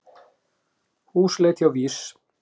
Húsleit hjá VÍS